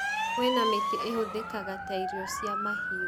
kwĩna mĩtĩ ĩhũthĩkaga ta irio cia mahiũ